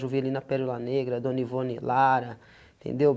Já ouvi ali na Pélula Negra, Dona Ivone Lara, entendeu?